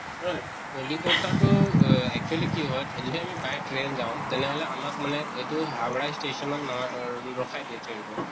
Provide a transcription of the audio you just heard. ঐ কলিকত্তা টো এহ actually কি হয় যেতিয়া আমি by train যাওঁ তেনেহʼলে আমাক মানে এইটো হাউৰা station ত নামা অৰ ৰখাই দিয়ে train